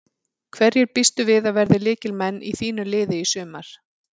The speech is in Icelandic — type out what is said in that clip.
Hverjir býstu við að verði lykilmenn í þínu liði í sumar?